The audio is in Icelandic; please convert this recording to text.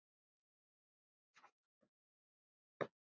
Eða. er það ekki annars?